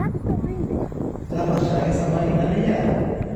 Itamaa shaake samaki kateyiara